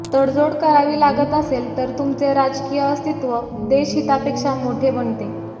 तडजोड करावी लागत असेल तर तुमचे राजकीय अस्तित्व देशहितापेक्षा मोठे बनते